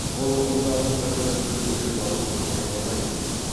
бұл ұғымдарды бір бірінен бөлек алып қарай алмаймыз